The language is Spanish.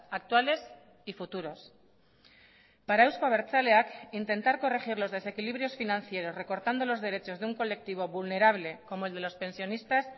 actuales y futuros para euzko abertzaleak intentar corregir los desequilibrios financieros recortando los derechos de un colectivo vulnerable como el de los pensionistas